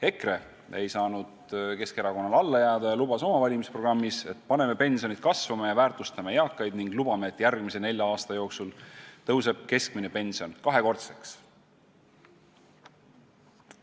EKRE ei saanud Keskerakonnale alla jääda ja lubas oma valimisprogrammis, et nad panevad pensionid kasvama ja väärtustavad eakaid, ta lubas, et järgmise nelja aasta jooksul tõuseb keskmine pension kahekordseks.